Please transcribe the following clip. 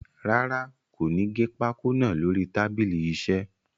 Rárá, kò ní gé pákó naa lórí tábìlì iṣẹ́.